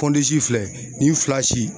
filɛ nin fila si